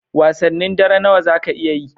Wasannin dare nawa zaka iya yi?